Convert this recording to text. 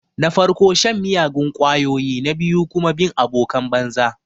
Na farko shan miyagun ƙwayoyi na biyu kuma bin abokan banza.